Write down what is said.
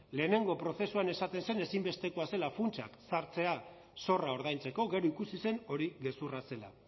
lehenengo prozesuan esaten zen ezinbestekoa zela funtsak sartzea zorra ordaintzeko gero ikusi zen hori gezurra zela